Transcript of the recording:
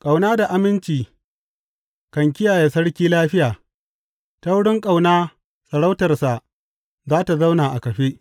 Ƙauna da aminci kan kiyaye sarki lafiya; ta wurin ƙauna sarautarsa za tă zauna a kafe.